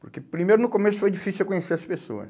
Porque, primeiro, no começo foi difícil eu conhecer as pessoas.